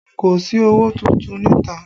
Kò sí owó tuntun níta